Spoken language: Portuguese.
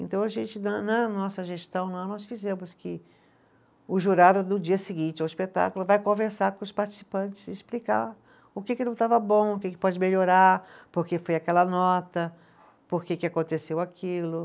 Então, a gente na, na nossa gestão, nós fizemos que o jurado, no dia seguinte ao espetáculo, vai conversar com os participantes e explicar o que que não estava bom, o que que pode melhorar, porque foi aquela nota, porque que aconteceu aquilo.